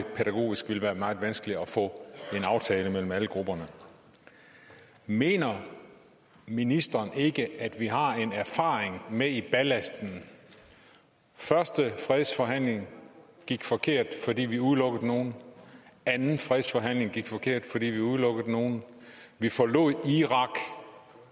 pædagogisk vil det være meget vanskeligt at få en aftale i stand mellem alle grupperne mener ministeren ikke at vi har en erfaring med i lasten første fredsforhandling endte forkert fordi vi udelukkede nogle anden fredsforhandling endte forkert fordi vi udelukkede nogle vi forlod irak